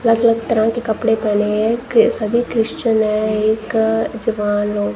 अलग अलग तरह के कपड़े पहने है के सभी क्रिश्चियन है एक जवान लोग--